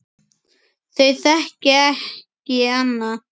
Þau þekki ekki annað.